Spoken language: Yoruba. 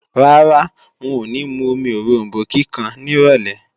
Rárá, wọn ò ní mú omi oròmbó kíkan nírọ̀lé